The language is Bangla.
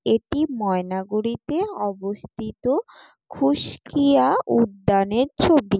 এটি ময়নাগুড়িতে অবস্থিত খুসকীয়া উদ্যান-এর ছবি।